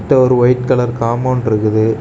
இதோ ஒரு white colour compound இருக்குது.